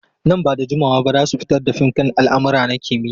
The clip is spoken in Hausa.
Nan ba da jimawa ba za su fitar da fim kan almara na kimiyya.